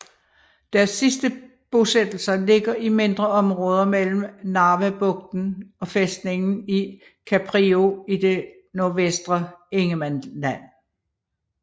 Deres sidste bosættelser ligger i mindre områder mellem Narvabugten og fæstningen i Kaprio i det nordvestre Ingermanland